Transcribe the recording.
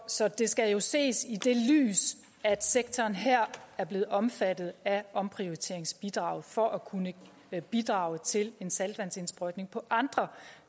så det skal jo ses i det lys at sektoren her er blevet omfattet af omprioriteringsbidraget for at kunne bidrage til en saltvandsindsprøjtning på andre